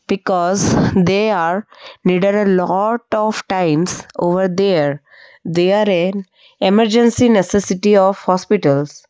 because they are needed a lot of times over there there an emergency necessity of hospitals.